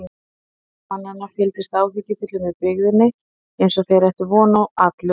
Margir mannanna fylgdust áhyggjufullir með byggðinni eins og þeir ættu von á atlögu.